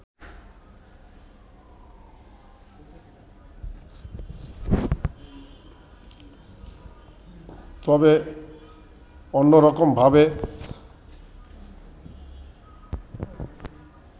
তবে অন্যরকমভাবে